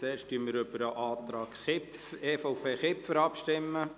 Zuerst stimmen wir über den Antrag EVP/Kipfer ab.